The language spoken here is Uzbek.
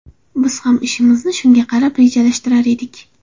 Biz ham ishimizni shunga qarab rejalashtirar edik.